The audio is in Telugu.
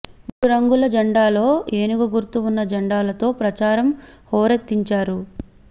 మూడు రంగుల జెండాలో ఏనుగు గుర్తు ఉన్న జెండాలతో ప్రచారం హోరెత్తించారు